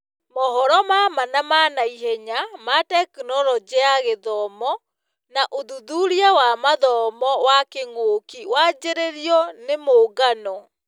Mohoro ma maa ma naihenya ma Tekinoronjĩ ya Gĩthomo na ũthuthuria wa mathomo wa kĩng'ũki wanjĩrĩirio nĩ mũngano